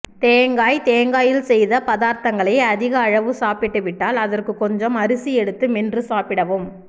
தேங்காய் தேங்காயில் செய்த பதார்த்தங்களை அதிக அளவு சாப்பிட்டு விட்டால் அதற்கு கொஞ்சம் அரிசி எடுத்து மென்று சாப்பிடவும்